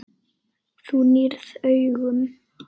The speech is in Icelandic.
Þú nýrð augun.